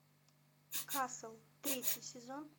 касл третий сезон